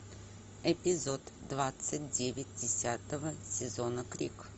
эпизод двадцать девять десятого сезона крик